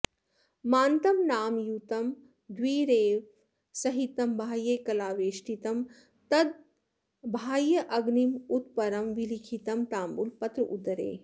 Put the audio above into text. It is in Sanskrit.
मान्तं नामयुतं द्विरेफसहितं बाह्ये कलावेष्टितं तद्बाह्येऽग्निमरुत्परं विलिखितं ताम्बूलपत्रोदरे